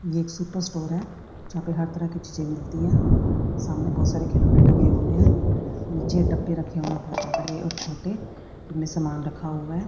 यह एक super store है यहां पर हर तरह की चीजें मिलती हैं सामने बहुत सारे खिलौने टंगे हुए हैं नीचे डब्बे रखे हुए हैं बड़े और छोटे जिसमें सामान रखा हुआ है।